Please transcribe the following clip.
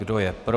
Kdo je pro?